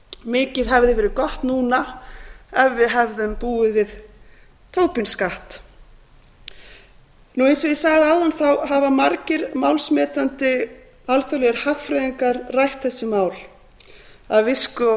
mikið hefði verið gott núna ef við hefðum búið við tobin skatt eins og ég sagði áðan hafa margir málsmetandi alþjóðlegir hagfræðingar rætt þessi mál af visku og